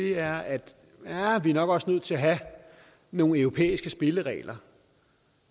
er at vi nok også er nødt til at have nogle europæiske spilleregler